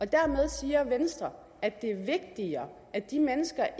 dermed siger venstre at det er vigtigere at de mennesker